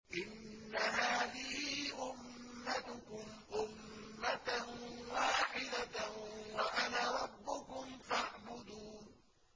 إِنَّ هَٰذِهِ أُمَّتُكُمْ أُمَّةً وَاحِدَةً وَأَنَا رَبُّكُمْ فَاعْبُدُونِ